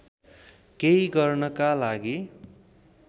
केही गर्नका लागि